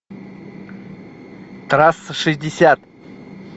трасса шестьдесят